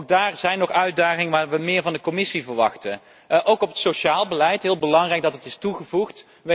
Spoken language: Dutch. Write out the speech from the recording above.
Ook daar zijn nog uitdagingen waar we meer van de Commissie verwachten. Ook voor wat betreft het sociaal beleid, heel belangrijk dat dat is toegevoegd.